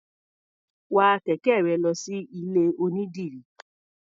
Wa kẹ̀kẹ́ rẹ lọ sí ilé-onídìrí.